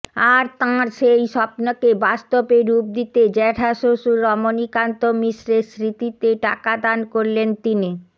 আর তাঁর সেই স্বপ্নকে বাস্তবে রূপ দিতে জ্যাঠাশ্বশুর রমণীকান্ত মিশ্রের স্মৃতিতে টাকা দান করলেন তিনি